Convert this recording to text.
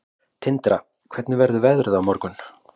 Tindra, hvernig verður veðrið á morgun?